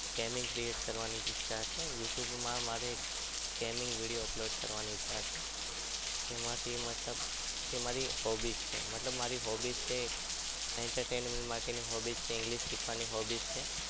Gaming create કરવાની ઈચ્છા છે youtube માં મારે gaming video upload કરવાની ઈચ્છા છે તેમાંથી મતલબ તે મારી hobby છે મતલબ મારી hobby છે entertainment માટેની hobby છે english શીખવાની hobby છે